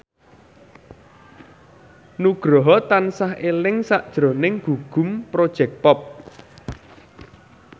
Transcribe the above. Nugroho tansah eling sakjroning Gugum Project Pop